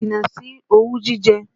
Jìnnà sí owú jíjẹ!